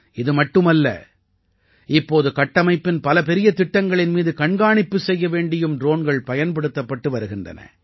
இது மட்டுமல்ல இப்போது கட்டமைப்பின் பல பெரிய திட்டங்களின் மீது கண்காணிப்பு செய்ய வேண்டியும் ட்ரோன்கள் பயன்படுத்தப்பட்டு வருகின்றன